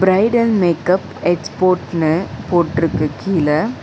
Bridal makeup எக்ஸ்போட்னு போட்ருக்கு கீழ.